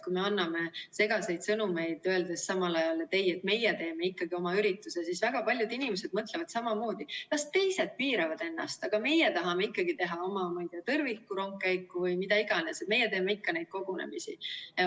Kui me anname segaseid sõnumeid, öeldes samal ajal, et ei, meie teeme ikkagi oma ürituse, siis väga paljud inimesed mõtlevad samamoodi: las teised piiravad ennast, aga meie tahame ikkagi teha oma, ma ei tea, tõrvikurongkäiku või mida iganes, meie teeme ikka neid kogunemisi.